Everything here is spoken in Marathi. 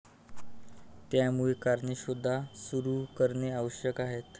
त्यामुळे कारणे शोध सुरू करणे आवश्यक आहे.